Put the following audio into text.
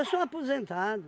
sou aposentado.